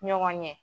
Ɲɔgɔn ɲɛ